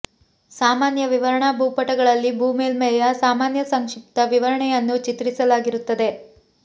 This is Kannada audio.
ಸಾಮಾನ್ಯ ವಿವರಣಾ ಭೂಪಟಗಳಲ್ಲಿ ಭೂ ಮೇಲ್ಮೈಯ ಸಾಮಾನ್ಯ ಸಂಕ್ಷಿಪ್ತ ವಿವರಣೆಯನ್ನು ಚಿತ್ರಿಸಲಾಗಿರುತ್ತದೆ